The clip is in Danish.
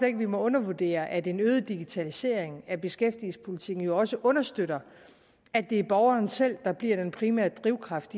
ikke vi må undervurdere at en øget digitalisering af beskæftigelsespolitikken jo også understøtter at det er borgeren selv der bliver den primære drivkraft